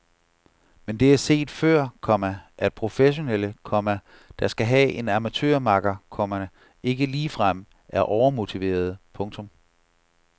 Men det er før set, komma at professionelle, komma der skal have en amatørmakker, komma ikke ligefrem er overmotiverede. punktum